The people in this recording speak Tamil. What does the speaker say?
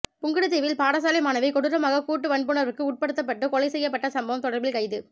புங்குடுதீவில் பாடசாலை மாணவி கொடூரமாக கூட்டு வன்புணர்வுக்கு உட்படுத்தப்பட்டுக் கொலை செய்யப்பட்ட சம்பவம் தொடர்பில் கைது